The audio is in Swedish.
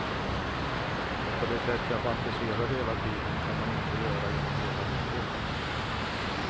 Och på det sätt jag fantiserade hela tiden kan man inte göra genom hela livet.